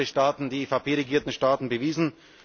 Das haben unsere Staaten, die EVP regierten Staaten bewiesen.